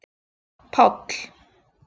Páll